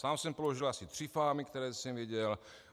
Sám jsem položil asi tři fámy, které jsem věděl.